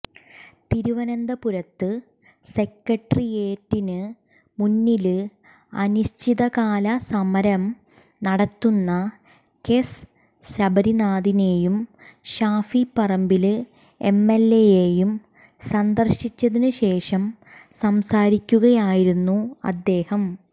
തിരുവനന്തപുരത്ത് സെക്രട്ടേറിയറ്റിന് മുന്നില് അനിശ്ചിതകാല സമരം നടത്തുന്ന കെസ് ശബരീനാഥനേയും ഷാഫി പറമ്പില് എംഎല്എയേയും സന്ദര്ശിച്ചതിനു ശേഷം സംസാരിക്കുകയായിരുന്നു അദ്ദേഹം